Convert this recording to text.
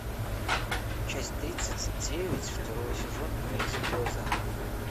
часть тридцать девять второго сезона мир дикого запада